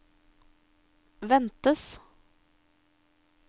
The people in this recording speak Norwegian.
ventes